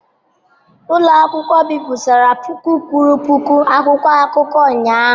Ụlọ akụkọ bipụtara puku kwuru puku akwụkwọ akụkọ ụnyahụ.